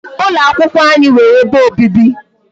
Ụlọ akwụkwọ anyị nwere ebe obibi.